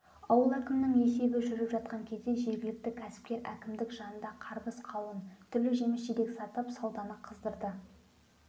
ауыл әкімінің есебі жүріп жатқан кезде жергілікті кәсіпкер әкімдік жанында қарбыз-қауын түрлі жеміс-жидек сатып сауданы қыздырды